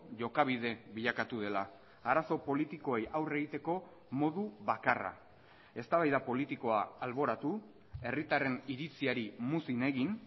jokabide bilakatu dela arazo politikoei aurre egiteko modu bakarra eztabaida politikoa alboratu herritarren iritziari muzin egin